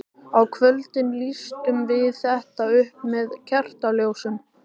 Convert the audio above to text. Á kvöldin lýstum við þetta upp með kertaljósum.